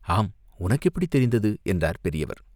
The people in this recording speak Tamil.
"ஆம், உனக்கு எப்படித் தெரிந்தது?" என்றார் பெரியவர்.